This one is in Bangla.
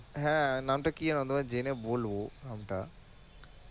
হ্যাঁ নামটা কি যেন তোমায় জেনে বলব নামটা